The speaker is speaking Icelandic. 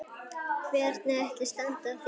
Hvernig ætli standi á því?